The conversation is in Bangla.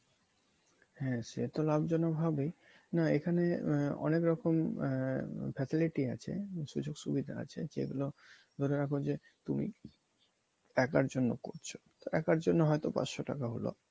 হ্যাঁ সে তো লাভজনক হবেই না এখানে আহ অনেক রকম আহ facility আছে। সুযোগ সুবিধা আছে যেগুলো ধরে রাখো যে তুমি একার জন্য করছো তো একার জন্য হয়তো পাঁচশো টাকা হলো।